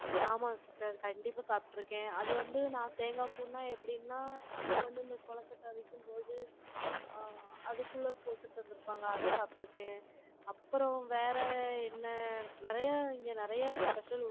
ஆமாம் sister, கண்டிப்பா சாப்பிட்டு இருக்கேன். அது வந்து, நான் தேங்காய் பூன்னா எப்படின்னா, அம்மா வந்து, இந்த கொழுக்கட்டை விக்கும் போது, ஆங், அதுக்குள்ள போட்டு தந்து இருப்பாங்க, அதை சாப்பிட்டு இருக்கேன். அப்புறம் வேற என்ன, நிறைய இங்க நிறைய special